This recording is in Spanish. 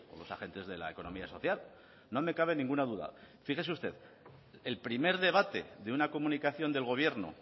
los agentes de la economía social no me cabe ninguna duda fíjese usted el primer debate de una comunicación del gobierno